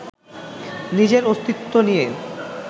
নিজের অস্তিত্ব নিয়ে